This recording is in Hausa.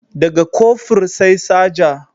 Da ga Kofur sai Saja